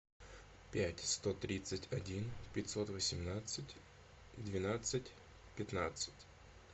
пять сто тридцать один пятьсот восемнадцать двенадцать пятнадцать